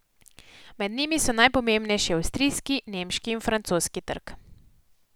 Med njimi so najpomembnejši avstrijski, nemški in francoski trg.